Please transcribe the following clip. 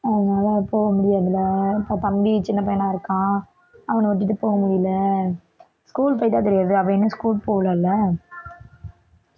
அதனால போக முடியாது இல்லை இப்ப தம்பி சின்னப்பையனா இருக்கான் அவனை விட்டுட்டு போக முடியல school போயிட்டா தெரியாது அவன் இன்னும் school போகல இல்ல